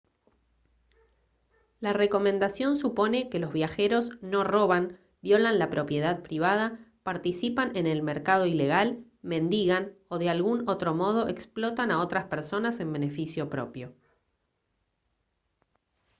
la recomendación supone que los viajeros no roban violan la propiedad privada participan en el mercado ilegal mendigan o de algún otro modo explotan a otras personas en beneficio propio